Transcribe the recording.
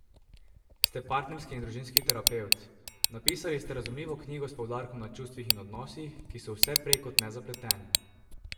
Ste partnerski in družinski terapevt, napisali ste razumljivo knjigo s poudarkom na čustvih in odnosih, ki so vse prej kot nezapleteni.